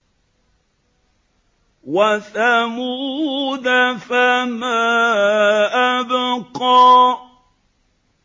وَثَمُودَ فَمَا أَبْقَىٰ